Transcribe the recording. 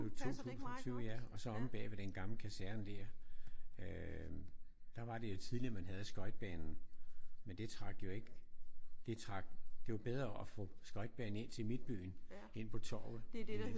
I 2020 ja og så omme bagved den gamle kaserne der øh der var det jo tidligere man havde skøjtebanen. Men det trak jo ikke det trak det var bedre at få skøjtebanen ind til midtbyen. Ind på torvet i